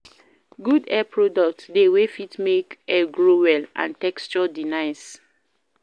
Good hair products de wey fit make hair grow well and texture de nice